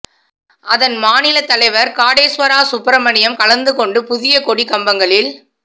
அதன் மாநிலத் தலைவா் காடேஸ்வரா சுப்பிரமணியம் கலந்துகொண்டு புதிய கொடி கம்பங்களில்